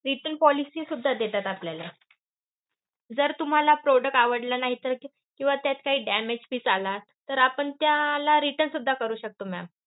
Return policy सुद्धा देतात आपल्याला. जर तुम्हाला product आवडला नाही तर किंवा त्यात काही damage piece आला, तर आपण त्याला return सुद्धा करू शकतो ma'am.